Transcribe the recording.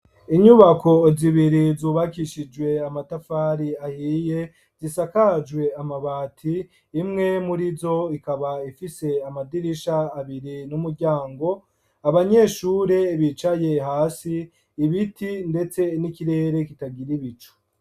Inyubako zibiri zubakishijwe amatafari ahiye, zisakajwe amabati, imwe muri zo ikaba ifise amadirisha abiri n'umuryango, abanyeshure bicaye hasi, ibiti ndetse n'ikirere kitagira ibicu.